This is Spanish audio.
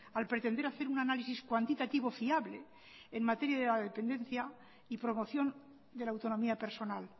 al pretender hacer un análisis cuantitativo fiable en materia de dependencia y promoción de la autonomía personal